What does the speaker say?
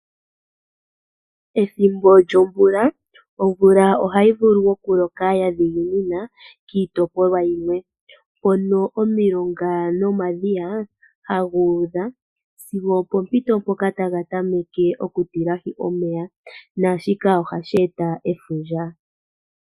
Ethimbo lyomvula, omvula ohayi vulu okuloka ya dhiginina kiitopolwa yilwe, hono omilongo nomadhiya haga udha sigo opoompito mpoka taga tameke okutilahi omeya, naa shika ohashi e ta efundja.